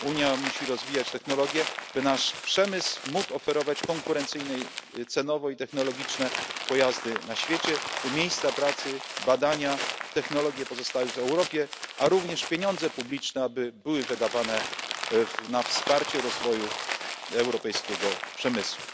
Unia musi rozwijać technologie, by nasz przemysł mógł oferować konkurencyjne cenowo i technologicznie pojazdy na świecie, by miejsca pracy, badania, technologie pozostały w Europie, a również pieniądze publiczne, aby były wydawane na wsparcie rozwoju europejskiego przemysłu.